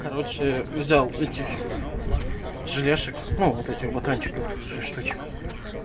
короче взял этих желешек ну вот этих батончиков шесть штучек